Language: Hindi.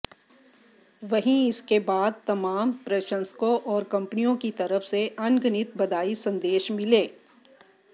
वहीं इसके बाद तमाम प्रशंसकों और कंपनियों की तरफ से अनगिनत बधाई संदेश मिले